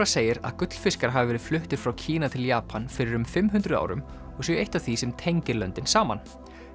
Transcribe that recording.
segir að gullfiskar hafi verið fluttir frá Kína til Japan fyrir um fimm hundruð árum og séu eitt af því sem tengir löndin saman